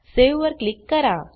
save वर click करा